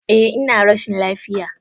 Eh, ina rashin lafiya.